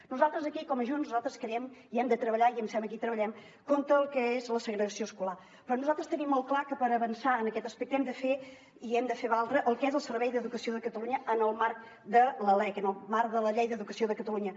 nosaltres aquí com a junts creiem que hem de treballar i em sembla que hi treballem contra el que és la segregació escolar però nosaltres tenim molt clar que per avançar en aquest aspecte hi hem de fer valdre el que és el servei d’educació de catalunya en el marc de la lec en el marc de la llei d’educació de catalunya